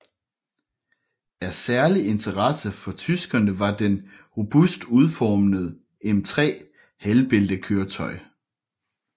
Af særlig interesse for tyskerne var den robust udformede M3 halvbæltekøretøj